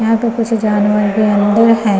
यहां पे कुछ जानवर भी अंदर हैं।